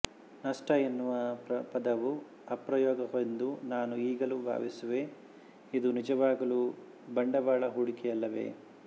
ನಷ್ಟ ಎನ್ನುವ ಪದವು ಅಪಪ್ರಯೋಗವೆಂದು ನಾನು ಈಗಲೂ ಭಾವಿಸುವೆ ಇದು ನಿಜವಾಗಲೂ ಬಂಡವಾಳ ಹೂಡಿಕೆಯಲ್ಲವೇ